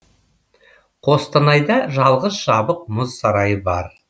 қостанайда жалғыз жабық мұз сарайы бар